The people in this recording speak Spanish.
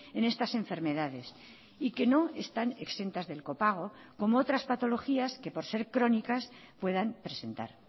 en estas enfermedades y que no están exentas del copago como otras patologías que por ser crónicas puedan presentar